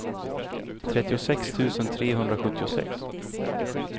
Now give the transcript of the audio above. trettiosex tusen trehundrasjuttiosex